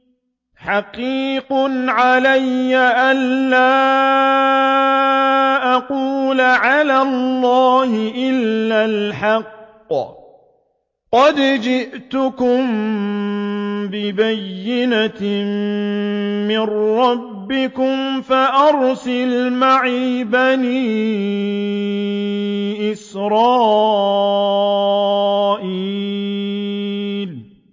حَقِيقٌ عَلَىٰ أَن لَّا أَقُولَ عَلَى اللَّهِ إِلَّا الْحَقَّ ۚ قَدْ جِئْتُكُم بِبَيِّنَةٍ مِّن رَّبِّكُمْ فَأَرْسِلْ مَعِيَ بَنِي إِسْرَائِيلَ